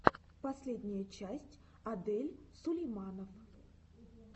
последняя часть адель сулейманов